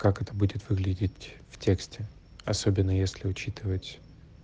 как это будет выглядеть в тексте особенно если учитывать